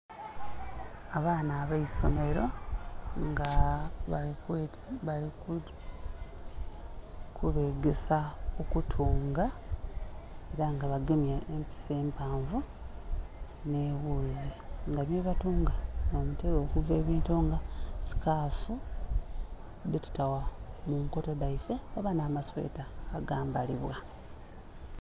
Abaana abaisomelo nga bali kubegesa okutunga, ela nga bagemye empiso empanvu nhe ghuzi, nga byebatunga nh'omutela okuva ebintu nga sikaafu dhetuta mu nkoto dhaife oba nhama sweta agambalibwa.